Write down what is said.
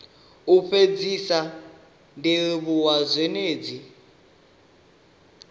u fhedzisa ndi livhuwa zhendedzi